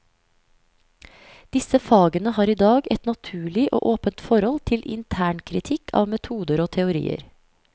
Disse fagene har i dag et naturlig og åpent forhold til internkritikk av metoder og teorier.